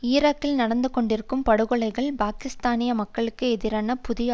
ஈராக்கில் நடந்து கொண்டிருக்கும் படுகொலைகள் பாலஸ்தீனிய மக்களுக்கு எதிரான புதிய